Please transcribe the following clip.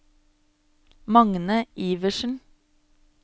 Magne Iversen